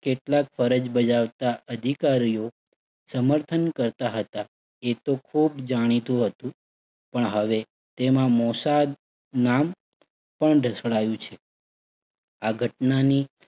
કેટલાક ફરજ બજાવતા અધિકારીઓ સમર્થન કરતા હતા. એ તો ખુબ જાણીતું હતું. પણ હવે તેમાં મોસાદ નામ પણ ધસડાયું છે. આ ઘટનાની